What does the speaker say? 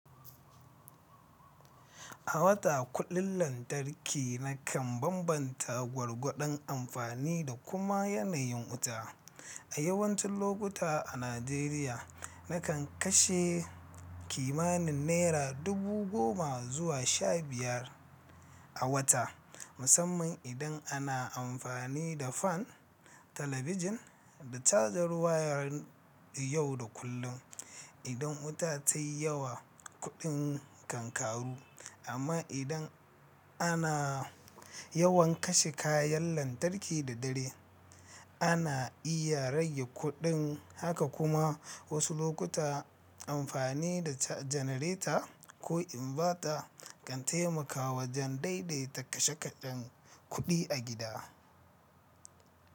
A wata kuɗin lantarki na kan bambanta gwargwadon amfani da kuma yanayin wuta. A yawancin lokuta a Najeriya, na kan kashe kimanin naira dubu goma zuwa sha biyar a wata, musamman idan ana amfani da fan, talabijin, da caja waya yau da kullum. Idan wuta ta yi yawa, kuɗin kan ƙaru, amma idan ana yawan kashe kayan lantarki da dare, ana iya rage kuɗin. Haka kuma wasu lokuta amfani da janareta ko inverter kan taimaka wajen daidaita kashe kashen kuɗi a gida.